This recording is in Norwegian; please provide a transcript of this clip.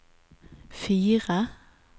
fire